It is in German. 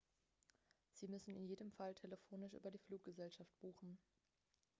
sie müssen in jedem fall telefonisch über die fluggesellschaft buchen